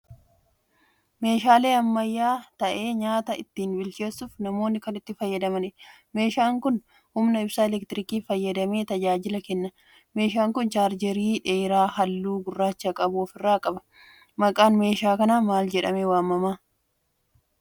Meeshaa ammayyaa ta'ee nyaata ittiin bilcheessuuf namoonni kan itti fayyadamaniidha. Meeshaan kun humna ibsaa elektirikii fayyadamee tajaajila kenna. Meeshaan kun 'chaarjeerii' dheeraa halluu gurraacha qabu ofirraa qaba. maqaan meeshaa kanaa maal jedhamee waamama?